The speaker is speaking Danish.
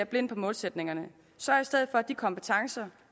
blind på målsætningerne sørg i stedet for at de kompetencer